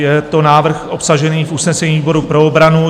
Je to návrh obsažený v usnesení výboru pro obranu.